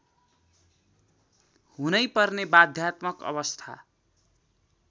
हुनैपर्ने बाध्यात्मक अवस्था